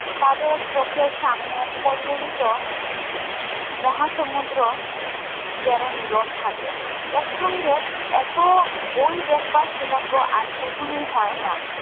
তাদের চোখের সমানে কল্লোলিত মহা সমুদ্র যেন নীরব থাকে একসঙ্গে এতো বই দেখবার সৌভাগ্য আর কখনোই হয় না